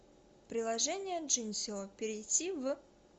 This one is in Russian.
приложение джинсио перейди в